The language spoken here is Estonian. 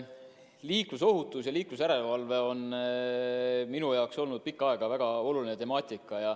Liiklusohutus ja liiklusjärelevalve on minu jaoks olnud pikka aega väga oluline temaatika.